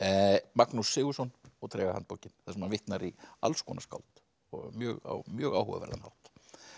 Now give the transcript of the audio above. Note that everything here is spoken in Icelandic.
Magnús Sigurðsson og Tregahandbókin þar sem hann vitnar í alls konar skáld á mjög á mjög áhugaverðugan hátt